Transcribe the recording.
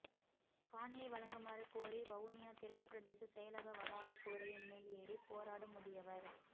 காணியை வழங்குமாறு கோரி வவுனியா தெற்கு பிரதேச செயலக வளாக கூரையின் மேல் ஏறி போராடும் முதியவர்